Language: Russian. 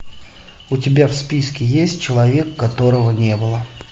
у тебя в списке есть человек которого не было